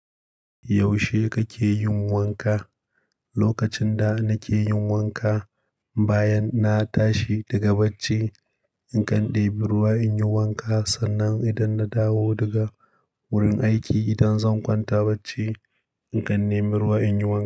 Yaushe kake yin wanka? Lokacin da nake yin wanka bayan na tashi daga bacci, in kan ɗebi ruwa in yi wanka sannan idan na dawo daga wurin aiki, idan zan kwanta bacci in kan nemi ruwa in yi wanka.